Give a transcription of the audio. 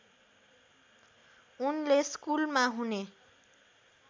उनले स्कुलमा हुने